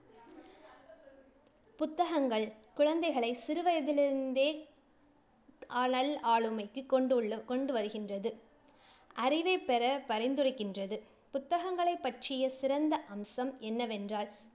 புத்தகங்கள் குழந்தைகளை சிறுவயதிலிருந்தே ஆளுமைக்கு கொண்டுள்ள~ கொண்டுவருகின்றது அறிவைப் பெற பரிந்துரைக்கின்றது. புத்தகங்களைப் பற்றிய சிறந்த அம்சம் என்னவென்றால்,